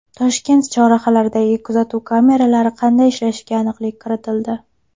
Toshkent chorrahalaridagi kuzatuv kameralari qanday ishlashiga aniqlik kiritildi.